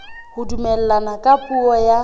ho dumellana ka puo ya